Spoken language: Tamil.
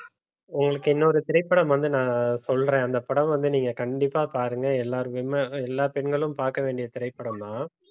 உங்களுக்கு இன்னொரு திரைப்படம் வந்து நான் சொல்றேன் அந்த படம் வந்து நீங்க கண்டிப்பா பாருங்க எல்லார் wome~ எல்லா பெண்களும் பார்க்க வேண்டிய திரைப்படம்தான்